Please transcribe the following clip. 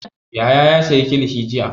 Yahaya ya sayi kilishi jiya.